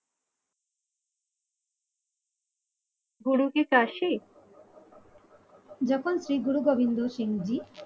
গুরু কি চাষী যখন শ্রীগুরু গোবিন্দ সিং জী